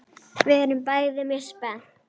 Við erum bæði mjög spennt.